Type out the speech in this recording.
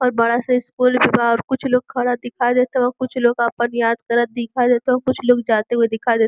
और बड़ा-सा इस्कूल के बाहर कुछ लोग कुछ लोग खड़ा दिखाई देत हवं। कुछ लोग आपन याद करत दिखाई देत हवं। कुछ लोग जाते हुए दिखाई देत --